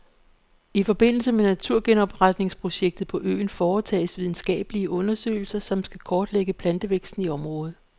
I forbindelse med naturgenopretningsprojektet på øen foretages videnskabelige undersøgelser, som skal kortlægge plantevæksten i området.